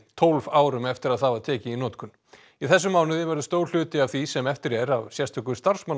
tólf árum eftir að það var tekið í notkun í þessum mánuði verður stór hluti af því sem eftir er af sérstöku